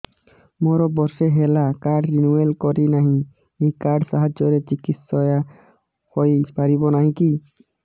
ମୋର ବର୍ଷେ ହେଲା କାର୍ଡ ରିନିଓ କରିନାହିଁ ଏହି କାର୍ଡ ସାହାଯ୍ୟରେ ଚିକିସୟା ହୈ ପାରିବନାହିଁ କି